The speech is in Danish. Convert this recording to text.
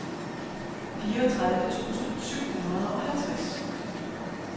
fireogtredive tusind syv hundrede og halvtreds